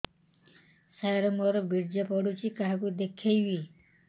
ସାର ମୋର ବୀର୍ଯ୍ୟ ପଢ଼ୁଛି କାହାକୁ ଦେଖେଇବି